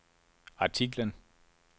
artiklen